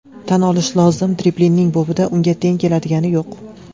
Tan olish lozim, dribling bobida unga teng keladigani yo‘q.